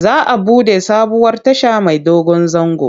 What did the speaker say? Za a buɗe sabuwar tasha mai dogon zango.